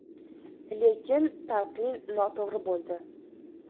Lekin talqin noto‘g‘ri bo‘ldi.